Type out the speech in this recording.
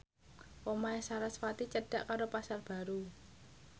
omahe sarasvati cedhak karo Pasar Baru